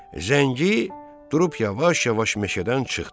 Zəngi durub yavaş-yavaş meşədən çıxdı.